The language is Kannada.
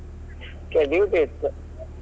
ಹೇ duty ಇತ್ತು.